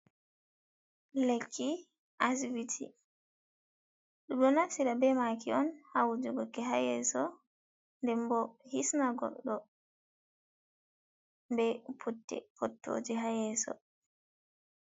Lekki asibiti, ɗum ɗon naftira be maki'on ha wujugo ki ha yeeso nden bo hisna goɗɗo be putte puttooje hayeso.